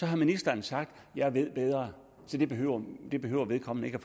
har ministeren sagt at hun ved bedre det behøver det behøver vedkommende ikke at